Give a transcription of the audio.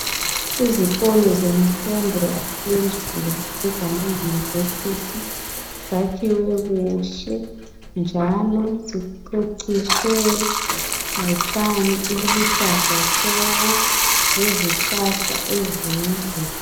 Izikolo zenfundo yaphezulu ezama university zakhiwe kuhle ,njalo ziceciswe ngotshani obuluhlaza tshoko , lezihlahla ezinde .